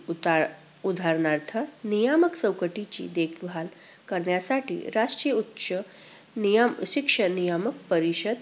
उतार~उदाहरणार्थ नियमक चौकटीची देखभाल करण्यासाठी राष्ट्रीय उच्च नियम~ शिक्षण नियामक परीषद.